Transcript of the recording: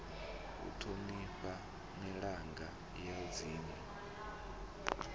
u thonifha milanga ya dzinwe